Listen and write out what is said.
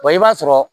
i b'a sɔrɔ